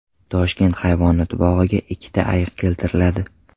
Toshkent hayvonot bog‘iga ikkita ayiq keltiriladi.